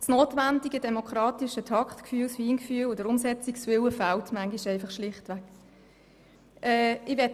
Das notwendige demokratische Taktgefühl beziehungsweise das Feingefühl und der Umsetzungswille fehlen manchmal schlichtweg.